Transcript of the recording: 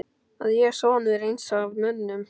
Að ég, sonur eins af mönnum